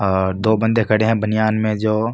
आ दो बन्दे खड़े है बनियान में जो --